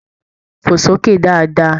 Fo s'oke dáadáa!